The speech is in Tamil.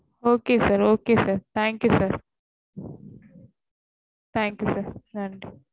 Okay sir okay sir thank you sir